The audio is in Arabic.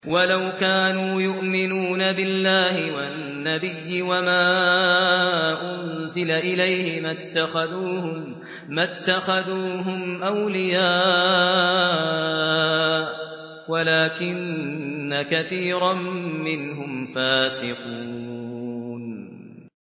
وَلَوْ كَانُوا يُؤْمِنُونَ بِاللَّهِ وَالنَّبِيِّ وَمَا أُنزِلَ إِلَيْهِ مَا اتَّخَذُوهُمْ أَوْلِيَاءَ وَلَٰكِنَّ كَثِيرًا مِّنْهُمْ فَاسِقُونَ